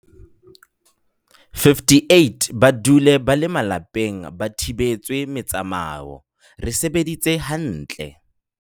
58 ba dule ba le malapeng ba thibetswe metsamao, re sebeditse ha ntle.